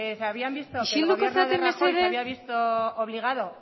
isilduko zarete mesedez el gobierno de rajoy se había visto obligado